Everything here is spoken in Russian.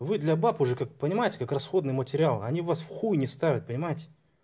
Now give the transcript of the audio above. вы для бабушек уже как понимаете как расходный материал они вас в хуй не ставят понимаете